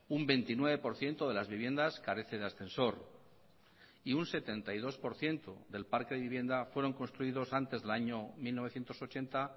un veintinueve por ciento de las viviendas carece de ascensor y un setenta y dos por ciento del parque de vivienda fueron construidos antes del año mil novecientos ochenta